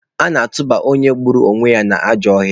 A na-achụpụ onye gburu mmadụ n'ajọ ọhịa.